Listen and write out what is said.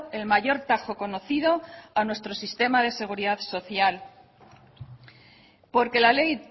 el mayor tajo conocido a nuestro sistema de seguridad social porque la ley